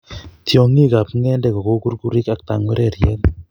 Tiong'ikab ng'endek ko kou kukurik ak tangwereryet.